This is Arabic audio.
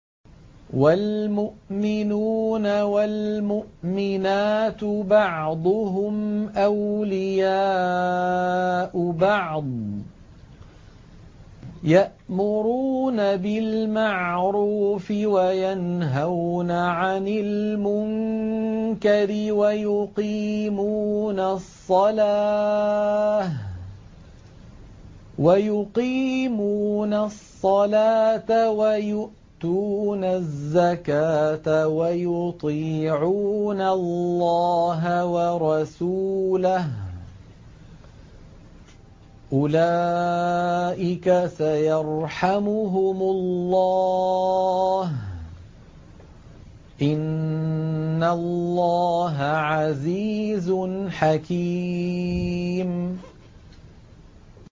وَالْمُؤْمِنُونَ وَالْمُؤْمِنَاتُ بَعْضُهُمْ أَوْلِيَاءُ بَعْضٍ ۚ يَأْمُرُونَ بِالْمَعْرُوفِ وَيَنْهَوْنَ عَنِ الْمُنكَرِ وَيُقِيمُونَ الصَّلَاةَ وَيُؤْتُونَ الزَّكَاةَ وَيُطِيعُونَ اللَّهَ وَرَسُولَهُ ۚ أُولَٰئِكَ سَيَرْحَمُهُمُ اللَّهُ ۗ إِنَّ اللَّهَ عَزِيزٌ حَكِيمٌ